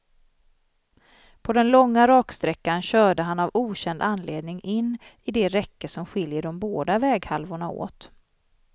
På den långa raksträckan körde han av okänd anledning in i det räcke som skiljer de båda väghalvorna åt.